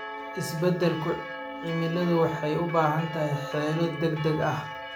Isbeddelka cimiladu waxay u baahan tahay xeelado degdeg ah.